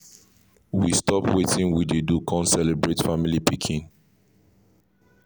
we stop wetin we dey do con celebrate family pikin